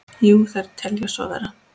Jú, þeir telja svo vera.